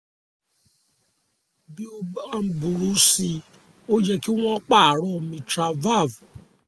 bí ó bá ń burú sí i ó yẹ kí wọ́n pààrọ̀ mitral valve